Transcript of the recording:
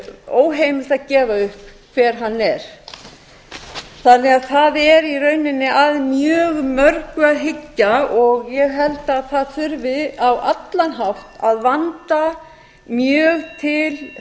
óheimilt að gefa upp hver hann er þannig að það er í rauninni að mjög mörgu að hyggja og ég held að það þurfi á allan hátt að vanda mjög til